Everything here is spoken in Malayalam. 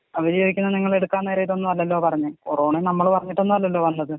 അവര് ചോദിക്കുന്നത് നിങ്ങള്‍ എടുക്കാൻ നേരം ഇതൊന്നുമല്ലല്ലോ പറഞ്ഞെ കൊറോണീം നമ്മള് പറഞ്ഞിട്ടൊന്നും അല്ലല്ലോ വന്നത്.